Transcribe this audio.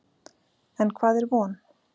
En hvað er von?